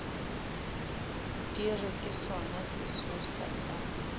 di re ke sonasesosa sa